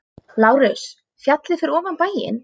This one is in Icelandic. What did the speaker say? LÁRUS: Fjallið fyrir ofan bæinn.